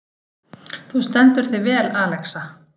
Þú stendur þig vel, Alexa!